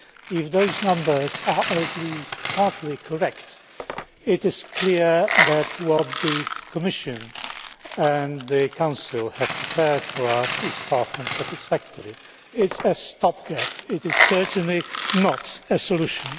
If those numbers are at least partly correct, it is clear that what the Commission and the Council have prepared for us is far from satisfactory. It is a stop gap it is certainly not a solution.